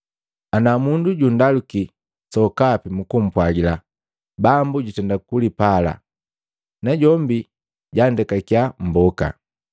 Ana mundu jundaluki sokapi mumpwagila, ‘Bambu jutenda kugapala, najombi jandekakiya mmboka.’ ”